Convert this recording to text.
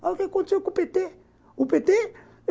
Olha o que aconteceu com o pê tê.